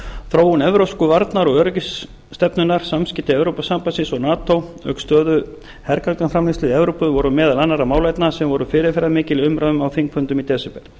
þróun evrópsku varnar og öryggisstefnunnar samskipti evrópusambandsins og nato auk stöðu hergagnaframleiðslu í evrópu voru meðal annarra málefna sem voru fyrirferðarmikil í umræðum á þingfundum í desember